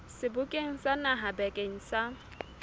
sebokeng sa naha bakeng sa